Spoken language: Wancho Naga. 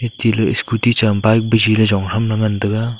chele scooty cham bike bishe le jong tham la ngan tega.